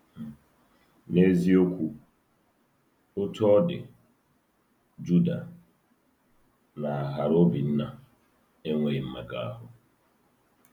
N’eziokwu, Otú ọ dị, Juda na harObinna enweghị mmekọahụ.